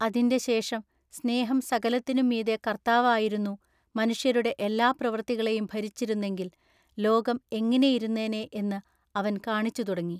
അതിന്റെ ശേഷം സ്നേഹം സകലത്തിനും മീതെ കർത്താവായിരുന്നു മനുഷ്യരുടെ എല്ലാ പ്രവർത്തികളെയും ഭരിച്ചിരുന്നെങ്കിൽ ലോകം എങ്ങിനെയിരുന്നേനെ എന്ന് അവൻ കാണിച്ചു തുടങ്ങി.